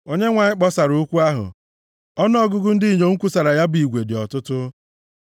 Onyenwe anyị kpọsara okwu ahụ, ọnụọgụgụ ndị inyom kwusara ya bụ igwe dị ọtụtụ;